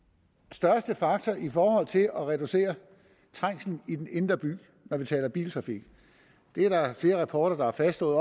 største faktor i forhold til at reducere trængselen i den indre by når vi taler biltrafik det er der flere rapporter der har fastslået